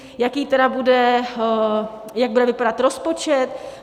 Jaký tedy bude, jak bude vypadat rozpočet?